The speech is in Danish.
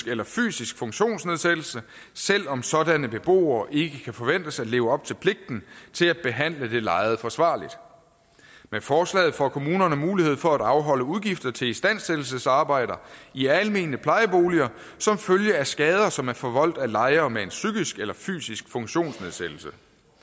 eller fysisk funktionsnedsættelse selv om sådanne beboere ikke kan forventes at leve op til pligten til at behandle det lejede forsvarligt med forslaget får kommunerne mulighed for at afholde udgifter til istandsættelsesarbejder i almene plejeboliger som følge af skader som er forvoldt af lejere med en psykisk eller fysisk funktionsnedsættelse